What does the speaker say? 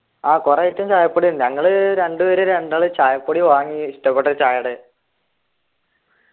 ആഹ് കുറെ item ചായപ്പൊടി ഉണ്ട് ഞങ്ങള് രണ്ടുപേര് രണ്ടാള് ചായപ്പൊടി വാങ്ങി ഇഷ്ടപ്പെട്ട ചായേടെ